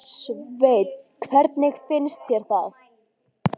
Sveinn: Hvernig finnst þér það?